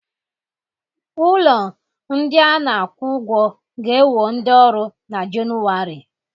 Ụlọ ndị a na-akwụ ụgwọ ga-ewo ndị ọrụ na Jenụwarị